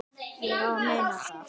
Ég á að muna það.